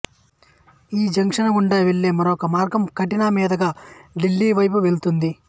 ఈ జంక్షను గుండా వెళ్ళే మరొక మార్గం కట్నీ మీదుగా ఢిల్లీ వైపు వెళ్తుంది